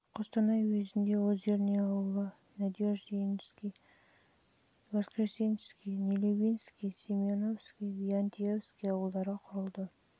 қостанай уезінде жылы озерный ауылы жылы надеждинский мен воскресенский ал жылы нелюбинский семеновский және виаентьевский ауылдары құрылды